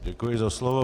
Děkuji za slovo.